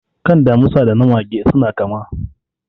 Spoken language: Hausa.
Kan damisa da na mage suna kama.